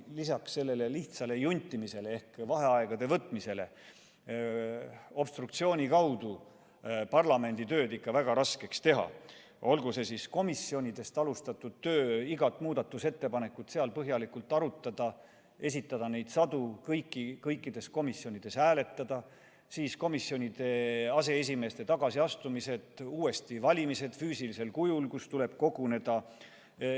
Lisaks sellele lihtsale juntimisele ehk vaheaegade võtmisele, saab obstruktsiooni kaudu parlamendi töö ikka väga raskeks teha, olgu see siis komisjonidest alustatud töö, seal iga muudatusettepaneku põhjalik arutamine, sadade muudatusettepanekute esitamine, kõikides komisjonides hääletamine, siis komisjonide aseesimeeste tagasiastumised ja uuesti valimised, milleks tuleb koguneda.